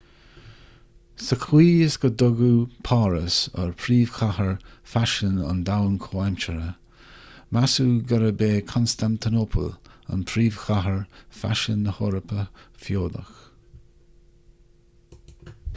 sa chaoi is go dtugadh páras ar phríomhchathair faisin an domhain chomhaimseartha measadh gurb é constantinople an príomhchathair faisin na heorpa feodach